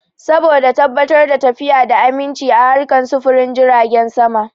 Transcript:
Saboda tabbatar da lafiya da aminchi a harkan sufurin jiragen sama